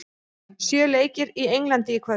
Sjö leikir í Englandi í kvöld